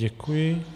Děkuji.